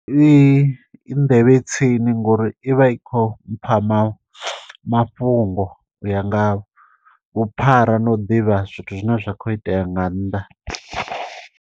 i nḓevhe tsini ngori ivha i kho mpama mafhungo u ya nga vhuphara na u ḓivha zwithu zwine zwa kho itea nga nnḓa